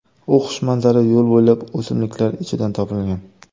U xushmanzara yo‘l bo‘ylab o‘simliklar ichidan topilgan.